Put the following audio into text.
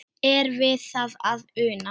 Er við það að una?